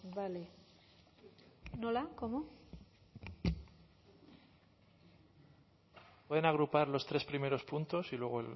vale nola cómo pueden agrupar los tres primeros puntos y luego